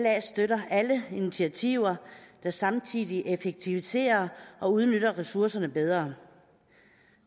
støtter alle initiativer der samtidig effektiviserer og udnytter ressourcerne bedre